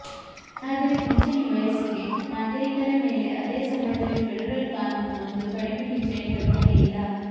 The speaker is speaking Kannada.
ಆದರೆ ಪಿಂಚಣಿ ವಯಸ್ಸಿಗೆ ನಾಗರಿಕರ ಮೇಲೆ ಅದೇ ಸಮಯದಲ್ಲಿ ಫೆಡರಲ್ ಕಾನೂನು ಒಂದು ಕಡಿಮೆ ಪಿಂಚಣಿ ಕಲ್ಪನೆಯಿಲ್ಲ